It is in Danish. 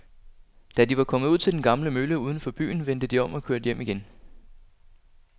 Da de var kommet ud til den gamle mølle uden for byen, vendte de om og kørte hjem igen.